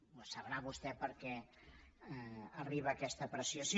ho sabrà vostè perquè arriba en aquesta apreciació